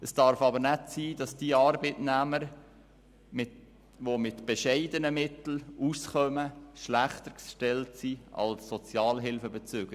Es darf aber nicht sein, dass diese Arbeitnehmer, die mit bescheidenen Mitteln auskommen, schlechter gestellt sind als Sozialhilfebezüger.